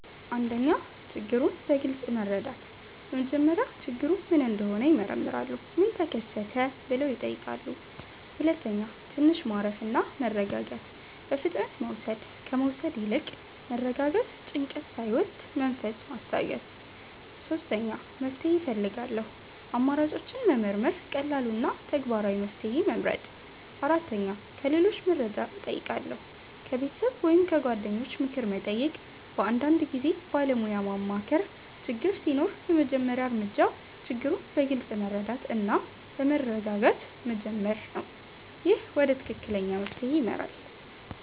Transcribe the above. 1. ችግሩን በግልጽ መረዳት በመጀመሪያ ችግሩ ምን እንደሆነ ይመረምራሉ “ምን ተከሰተ?” ብለው ይጠይቃሉ 2. ትንሽ ማረፍ እና መረጋጋት በፍጥነት መውሰድ ከመውሰድ ይልቅ መረጋጋት ጭንቀት ሳይወስድ መንፈስ ማስታገስ 3. መፍትሄ እፈልጋለሁ አማራጮችን መመርመር ቀላሉ እና ተግባራዊ መፍትሄ መመርጥ 4. ከሌሎች መርጃ እጨይቃለሁ ከቤተሰብ ወይም ከጓደኞች ምክር መጠየቅ በአንዳንድ ጊዜ ባለሞያ ማማከር ችግር ሲኖር የመጀመሪያ እርምጃ ችግሩን በግልጽ መረዳት እና በመረጋጋት መጀመር ነው። ይህ ወደ ትክክለኛ መፍትሄ ይመራል።